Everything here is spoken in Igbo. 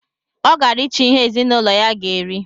Ọ gara icho ihe ezinụlọ ya ga eri